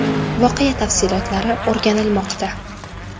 Voqea tafsilotlari o‘rganilmoqda.